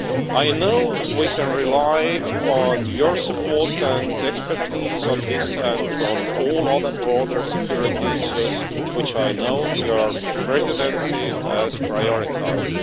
I know we can rely on your support and expertise on this and on all other broader security issues which I know your Presidency has prioritised.